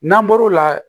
N'an bɔr'o la